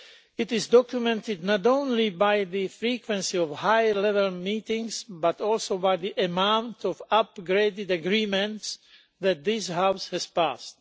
This is documented not only by the frequency of high level meetings, but also by the amount of upgraded agreements that this House has passed.